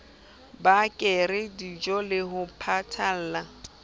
ba reke dijole ho patalla